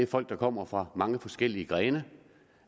folk der kommer fra mange forskellige grene